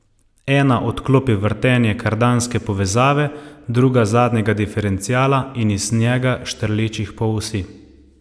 Ena odklopi vrtenje kardanske povezave, druga zadnjega diferenciala in iz njega štrlečih polosi.